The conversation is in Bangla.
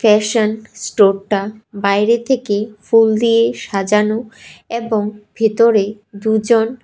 ফ্যাশন স্টোরটা বাইরে থেকে ফুল দিয়ে সাজানো এবং ভেতরে দুজন--